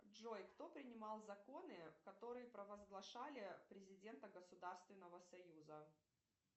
джой кто принимал законы которые провозглашали президента государственного союза